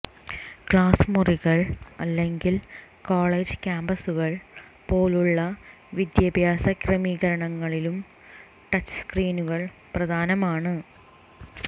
class മുറികൾ അല്ലെങ്കിൽ college കാമ്പസുകൾ പോലുള്ള വിദ്യാഭ്യാസ ക്രമീകരണങ്ങളിലും ടച്ച്സ്ക്രീനുകൾ പ്രധാനമാണ്